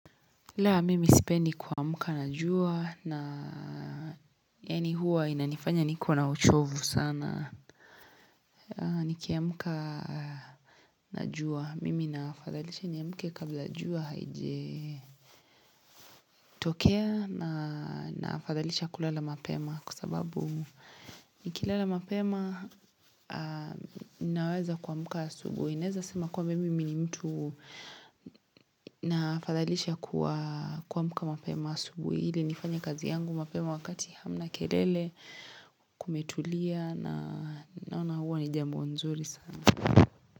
La, mimi sipendi kuwa mka na jua, na yaani huwa inanifanya niko na uchovu sana, nikia mka na jua, mimi nafadhalisha niamke kabla jua haije tokea na nafadhalisha kulala mapema kwa sababu nikila la mapema naweza kuamka asubui. Naweza kusema kwamba mimi ni mtu naafadhalisha kuamka mapema asubui ili nifanya kazi yangu mapema wakati hamna kelele kumetulia na naona huwa nijambo nzuri sana.